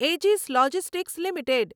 Aegis Logistics limited